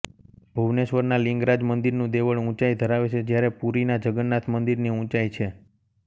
ભુવનેશ્વરના લિંગરાજ મંદિરનું દેવળ ઉંચાઈ ધરાવે છે જ્યારે પુરીના જગન્નાથ મંદિરની ઉંચાઈ છે